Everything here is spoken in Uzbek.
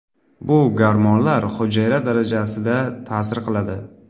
Bu gormonlar hujayra darajasida ta’sir qiladi.